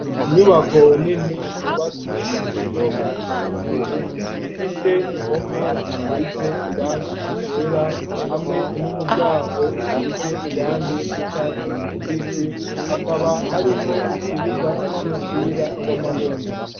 Inyubako nini, yubatswe mu buryo bwa kijambere; ifise impome, zisize irangi ryera, hamwe n'umuryango, usize irangi ry'icatsi kibisi; hakaba harimwo ikibuga, c'umupira w'amaboko.